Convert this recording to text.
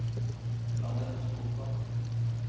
Jeanette Solstad